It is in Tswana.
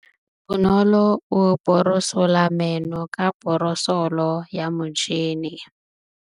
Bonolô o borosola meno ka borosolo ya motšhine.